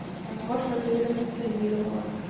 возможно ты их законсервировала